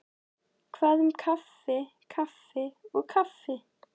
Hvað um kaffi kaffi og kaffi.